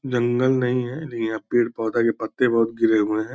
जंगल नहीं हैं लेकिन यहाँ पेड़-पौधा के पत्ते बहुत गिरे हुए हैं।